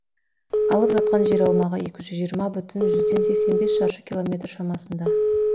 алып жатқан жер аумағы екі жүз жиырма бүтін жүзден сексен бес шаршы километр шамасында